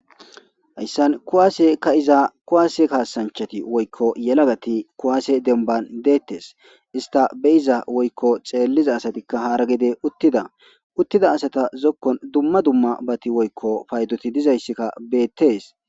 hayssan kuwaase ka iza kuwaase kaasanchati woykko yelagati kuwaase denban deettes ista beyiza woykko xeelliza asatikka haara gide uttida uttida asata zokkon dumma dumma bati woykko paydoti dizayssikka beettees